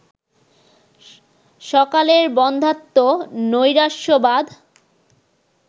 স্বকালের বন্ধ্যাত্ব, নৈরাশ্যবাদ